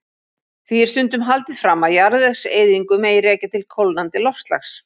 Því er stundum haldið fram að jarðvegseyðingu megi rekja til kólnandi loftslags.